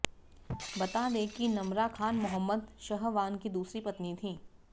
बता दें कि नमरा खान मोहम्मद शहवान की दूसरी पत्नी थी